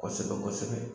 Kɔsɛbɛ-kɔsɛbɛ